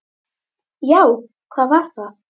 Já, hvað var að?